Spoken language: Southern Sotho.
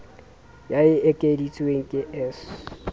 ya e ekeditsweng ke s